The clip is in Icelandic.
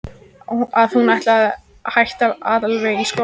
Að hún ætlaði að hætta alveg í skólanum.